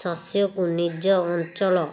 ଶସ୍ୟକୁ ନିଜ ଅଞ୍ଚଳ